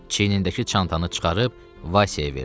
Çiyinindəki çantanı çıxarıb Vaysaya verdi.